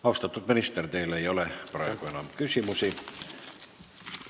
Austatud minister, teile ei ole praegu enam küsimusi.